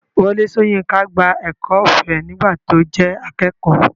Wọlé Soyinka gba ẹ̀kọ́ ọ̀fẹ́ nígbà tí ó jẹ́ akẹ́kọ̀ọ́.